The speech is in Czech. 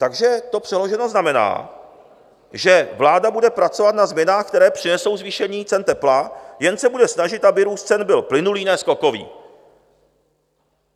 Takže to přeloženo znamená, že vláda bude pracovat na změnách, které přinesou zvýšení cen tepla, jen se bude snažit, aby růst cen byl plynulý, ne skokový.